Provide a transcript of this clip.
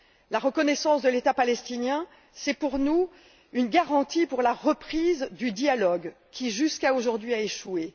La reconnaissance de l'État palestinien, c'est pour nous la garantie d'une reprise du dialogue qui, jusqu'à aujourd'hui, a échoué.